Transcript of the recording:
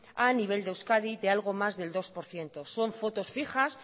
a nivel de euskadi de algo más del dos por ciento son fotos fijas